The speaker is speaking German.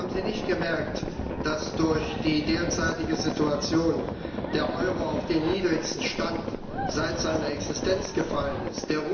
Haben Sie nicht gemerkt, dass durch die derzeitige Situation der Euro auf den niedrigsten Stand seit Beginn seiner Existenz gefallen ist?